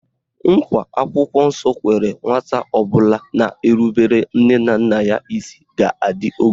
Nkwa akwụkwọ nsọ kwere nwata ọbụla na-erubere nne na nna ya isi bụ na ọ ga-adị ogologo ndụ